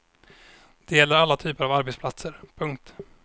Det gäller alla typer av arbetsplatser. punkt